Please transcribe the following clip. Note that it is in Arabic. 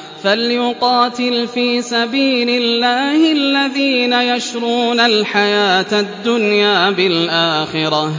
۞ فَلْيُقَاتِلْ فِي سَبِيلِ اللَّهِ الَّذِينَ يَشْرُونَ الْحَيَاةَ الدُّنْيَا بِالْآخِرَةِ